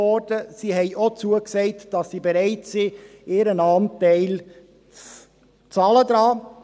Sie haben auch zugesagt, dass sie bereit sind, ihren Anteil daran zu bezahlen.